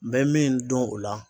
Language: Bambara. N bɛ min dɔn o la